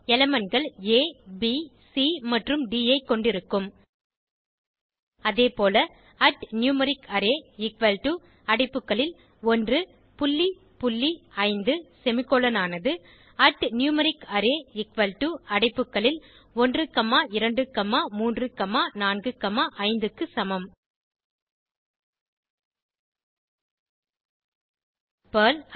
elementகள் a b c மற்றும் d ஐ கொண்டிருக்கும் அதேபோல numericArray எக்குவல் டோ அடைப்புகளில் 1 புள்ளி புள்ளி 5 செமிகோலன் ஆனது numericArray எக்குவல் டோ அடைப்புகளில் 1 காமா 2 காமா 3 காமா 4 காமா 5 க்கு சமம் பெர்ல்